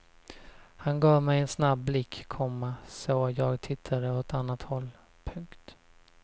Han gav mig en snabb blick, komma så jag tittade åt annat håll. punkt